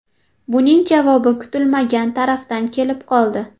Buning javobi kutilmagan tarafdan kelib qoldi.